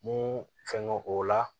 Mun fɛn don o la